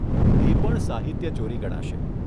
એ પણ સાહિત્યચોરી ગણાશે.